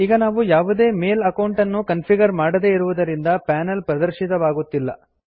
ಈಗ ನಾವು ಯಾವುದೇ ಮೇಲ್ ಅಕೌಂಟ್ ಅನ್ನು ಕನ್ಫಿಗರ್ ಮಾಡದೇ ಇರುದರಿಂದ ಪೇನಲ್ ಪ್ರದರ್ಶಿತವಾಗುತ್ತಿಲ್ಲ